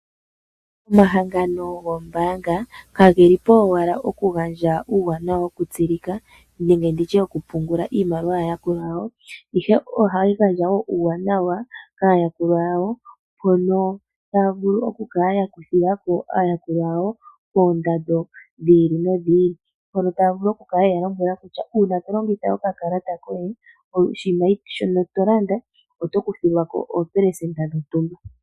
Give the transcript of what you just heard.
Omahangano goombaanga kageli po owala oku gandja uuwanawa woku tsilika, nenge nditye woku pungula iimaliwa yaa yakulwa yawo. Ihe ohayi gandja wo uuwanawa kaayakulwa yawo, mpono taya vulu oku kala ya kuthilako aayakulwa yawo koondando dhi ili nodhi ili. Mpono taya vulu oku kala yeya lombwela kutya uuna to longitha oka kalata koye, oshinima shoka to landa oto kuthilwako oopelesenda dhontumba.